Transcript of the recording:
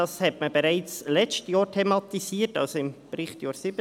Man hat dies bereits letztes Jahr, das heisst im Berichtsjahr 2017, thematisiert.